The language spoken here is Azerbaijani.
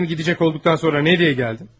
Həm gedəcək olduqdan sonra nə üçün gəldin?